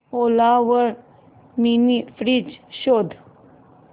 ओला वर mini fridge शोध